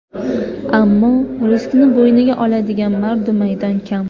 Ammo riskni bo‘yniga oladigan mardu maydon kam.